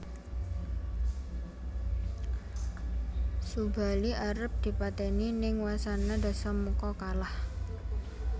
Subali arep dipatèni ning wasana Dasamuka kalah